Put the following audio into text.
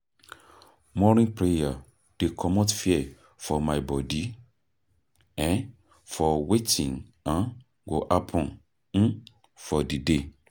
Morning prayer dey comot fear for my bodi um for wetin um go happen um for di day.